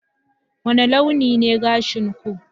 wani launi ne gashin ku